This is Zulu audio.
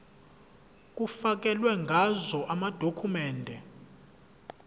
kufakelwe ngazo amadokhumende